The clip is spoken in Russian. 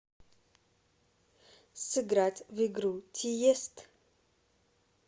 сыграть в игру тиест